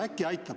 Äkki aitab.